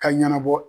Ka ɲɛnabɔ